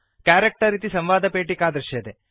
character इति संवादपेटिका दृश्यते